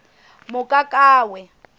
mokakawe